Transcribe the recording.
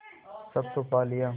सब तो पा लिया